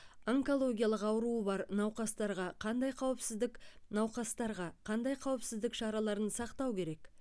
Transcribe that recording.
онкологиялық аруы бар науқастарға қандай қауіпсіздік науқастарға қандай қауіпсіздік шараларын сақтау керек